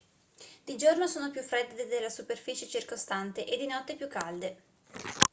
di giorno sono più fredde della superficie circostante e di notte più calde